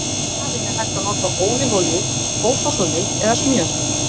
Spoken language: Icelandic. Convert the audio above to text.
Í staðinn er hægt að nota ólífuolíu, kókosolíu eða smjör.